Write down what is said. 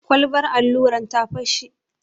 Kwalbar alluran ta fashe.